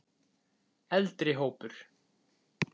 Eldri hópur